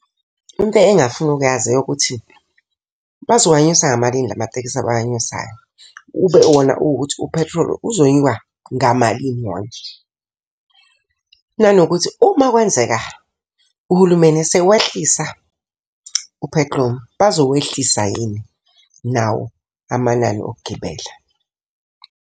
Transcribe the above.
Into engingafuna ukuyazi eyokuthi, bazowanyusa ngamalini la matekisi abawanyusayo. Ube wona ukuthi uphethroli uzonyuka ngamalini wona. Nanokuthi uma kwenzeka uhulumeni esewehlisa uphethilomu, bazowehlisa yini nawo amanani okugibela.